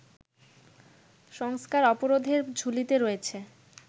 সংস্থার অপরাধের ঝুলিতে রয়েছে